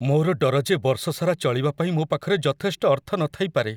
ମୋର ଡର ଯେ ବର୍ଷ ସାରା ଚଳିବା ପାଇଁ ମୋ ପାଖରେ ଯଥେଷ୍ଟ ଅର୍ଥ ନଥାଇପାରେ।